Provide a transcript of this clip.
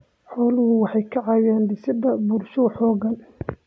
Xooluhu waxay ka caawiyaan dhisidda bulsho xooggan.